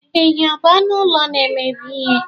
Ehi ọ bụ anụ ụlọ na-emebi ihe?